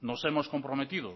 nos hemos comprometido